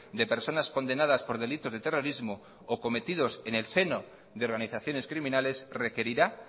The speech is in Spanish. de personas condenadas por delitos de terrorismo o cometidos en el seno de organizaciones criminales requerirá